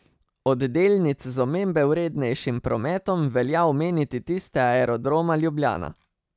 Od delnic z omembe vrednejšim prometom velja omeniti tiste Aerodroma Ljubljana.